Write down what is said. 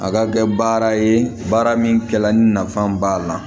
A ka kɛ baara ye baara min kɛla ni nafa b'a la